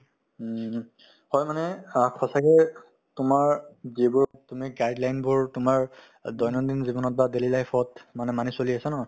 উমহু, হয় মানে সা~ সঁচাকে তোমাৰ যিবোৰ তুমি guideline বোৰ তোমাৰ অ দৈনন্দিন জীৱনত বা daily life ত মানে মানি চলি আছা নহয়